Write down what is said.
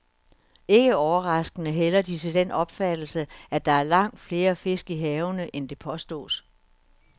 Ikke overraskende hælder de til den opfattelse, at der er langt flere fisk i havene, end det påstås.